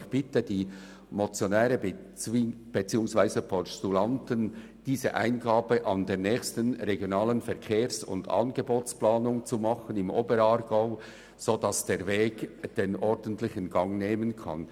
Ich bitte die Motionäre beziehungsweise Postulanten, diese Eingabe an der nächsten Regionalen Verkehrs- und Angebotsplanung im Oberaargau zu machen, damit der ordentliche Weg beschritten werden kann.